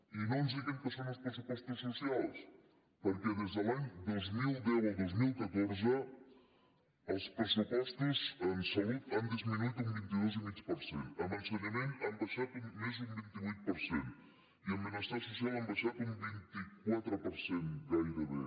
i no ens diguin que són uns pressupostos socials perquè des de l’any dos mil deu al dos mil catorze els pressupostos en salut han disminuït un vint dos coma cinc per cent en ensenyament han baixat més d’un vint vuit per cent i en benestar social han baixat un vint quatre per cent gairebé